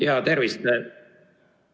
Jaa, tervist!